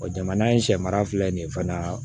jamana in sɛ mara filɛ nin ye fana